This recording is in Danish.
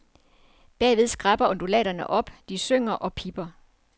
Bagved skræpper undulaterne op, de synger og pipper.